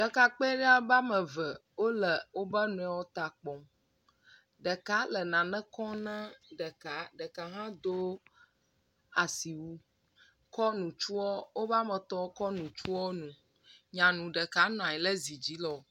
Ɖekakpui ɖe wobe ame eve wole wobe nɔewo ta kpɔ. Ɖeka le nane kɔm ne ɖeka. Ɖeka hã do asiwu kɔ ŋutsua wobe ame etɔ̃ wokɔ ŋutsuawo ŋu. nyanu ɖeka nɔ anyi ɖe dzi le wokpɔ